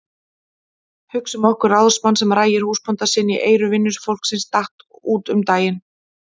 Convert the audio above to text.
Hugsum okkur ráðsmann sem rægir húsbónda sinn í eyru vinnufólksins daginn út og daginn inn.